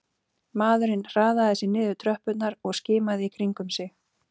Maðurinn hraðaði sér niður tröppurnar og skimaði í kringum sig